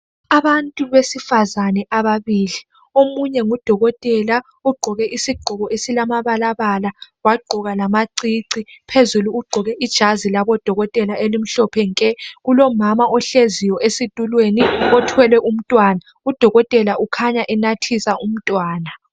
abantu besifazane ababili omunye ngudokotela ogqoke isigqoko esilama balabala wagqoka lamacici phezulu wagqoka ijazi labodokotela elimhlophe nke kulomama ohleziyo esitulweni othwele umntwana udokotela kukhanya enathisa umntwana